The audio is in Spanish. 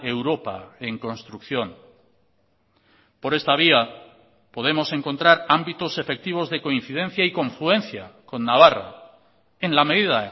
europa en construcción por esta vía podemos encontrar ámbitos efectivos de coincidencia y confluencia con navarra en la medida